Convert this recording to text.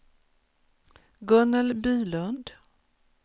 Gunnel Bylund